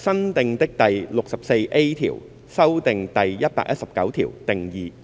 新訂的第 64A 條修訂第119條。